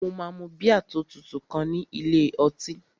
Mo máa mu bíà tó tutù kan ní ilé ọtí